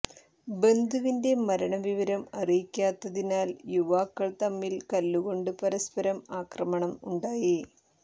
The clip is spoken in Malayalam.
ബന്ധുവിന്റെ മരണ വിവരം അറിയിക്കാത്തതിനാൽ യുവാക്കൾ തമ്മിൽ കല്ലുകൊണ്ട് പരസ്പരം ആക്രമണം ഉണ്ടായി